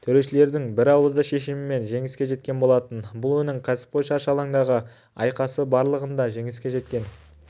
төрешілердің бірауызды шешімімен жеңіске жеткен болатын бұл оның кәсіпқой шаршы алаңдағы айқасы барлығында жеңіске жеткен